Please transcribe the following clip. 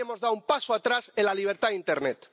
Hoy hemos dado un paso atrás en la libertad en internet.